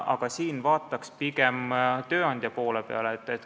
Aga siin vaataks pigem tööandjate poole.